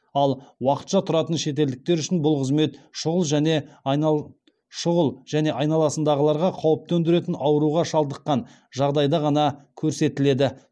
ал уақытша тұратын шетелдіктер үшін бұл қызмет шұғыл және айналасындағыларға қауіп төндіретін ауруға шалыдыққан жағдайда ғана көрсетіледі